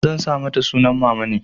Zan sa mata sunan mamane.